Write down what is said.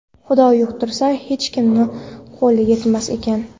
Xudo yuqtirsa, hech kimni qo‘li yetmas ekan.